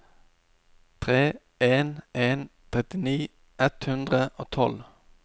tre en en en trettini ett hundre og tolv